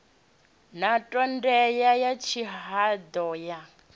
na ṱhodea ya tshihaḓu ya